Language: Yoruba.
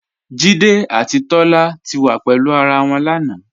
Jídé àti Tólá ti wá pẹ̀lú ará wọn lánà.